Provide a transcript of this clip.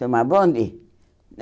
Tomar bonde?